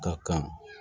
Ka kan